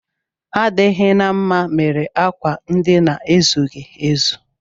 Adịghị na mma mere akwa ndina ezughị ezu